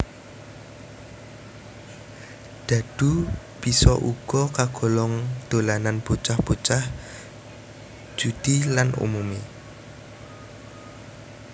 Dhadhu bisa uga kagolong dolanan bocah bocah judi lan umumé